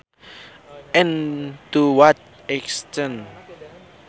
and to what extent